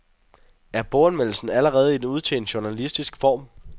Er boganmeldelsen allerede en udtjent journalistisk form?